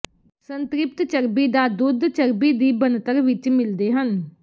ਸੰਤ੍ਰਿਪਤ ਚਰਬੀ ਦਾ ਦੁੱਧ ਚਰਬੀ ਦੀ ਬਣਤਰ ਵਿਚ ਮਿਲਦੇ ਹਨ